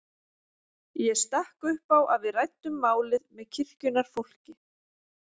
Ég stakk upp á að við ræddum málið með kirkjunnar fólki.